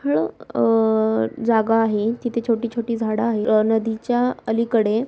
हळू अ जागा आहे तिथे छोटी छोटी झाड आहे. अ तिच्या नदीच्या अलीकडे --